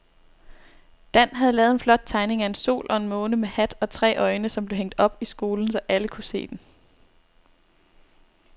Dan havde lavet en flot tegning af en sol og en måne med hat og tre øjne, som blev hængt op i skolen, så alle kunne se den.